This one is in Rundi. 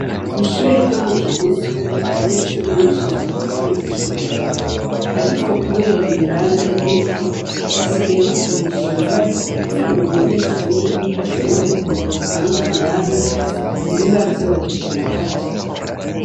Ishure ryo mu kigutu abanyeshuri benshi bararyirukira, ariko, kubera ibibanza ari bike basigaye bakoresha ibibazo kugira ngo umunyeshuri ashobore kuironkamwo ikibanza ntibiba vyoroshe na gato.